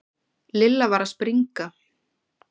Lilla var að springa.